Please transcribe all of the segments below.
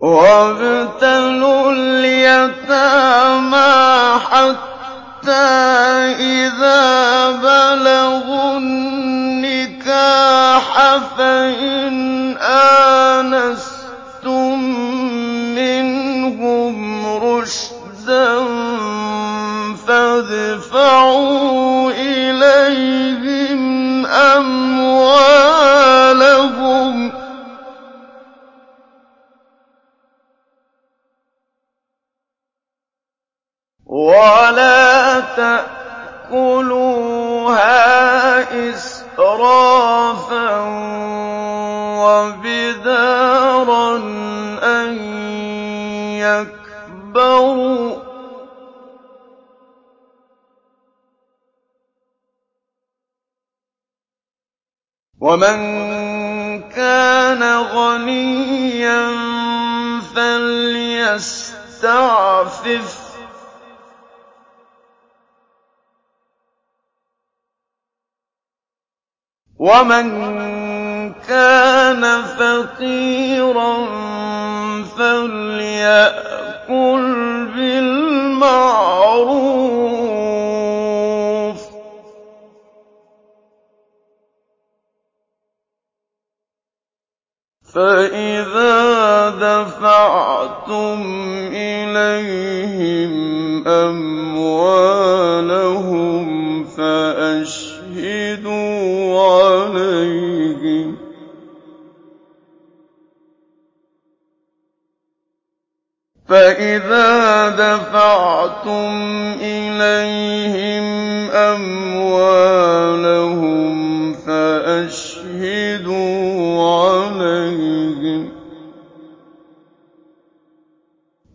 وَابْتَلُوا الْيَتَامَىٰ حَتَّىٰ إِذَا بَلَغُوا النِّكَاحَ فَإِنْ آنَسْتُم مِّنْهُمْ رُشْدًا فَادْفَعُوا إِلَيْهِمْ أَمْوَالَهُمْ ۖ وَلَا تَأْكُلُوهَا إِسْرَافًا وَبِدَارًا أَن يَكْبَرُوا ۚ وَمَن كَانَ غَنِيًّا فَلْيَسْتَعْفِفْ ۖ وَمَن كَانَ فَقِيرًا فَلْيَأْكُلْ بِالْمَعْرُوفِ ۚ فَإِذَا دَفَعْتُمْ إِلَيْهِمْ أَمْوَالَهُمْ فَأَشْهِدُوا عَلَيْهِمْ ۚ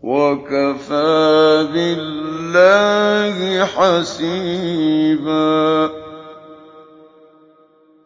وَكَفَىٰ بِاللَّهِ حَسِيبًا